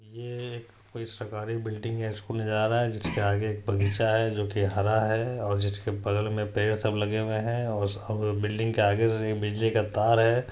ये एक कोई सरकारी बिल्डिंग है उसका नज़ारा है जिसके आगे जोकि हरा है और जिसके बगल में पेड़ सब लगे हुए हैं बिल्डिंग के आगे बिजली का तार है।